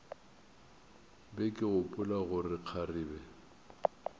be ke gopola gore kgarebe